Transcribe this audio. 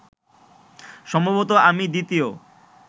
সম্ভবত আমি দ্বিতীয়